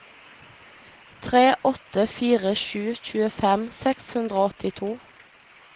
tre åtte fire sju tjuefem seks hundre og åttito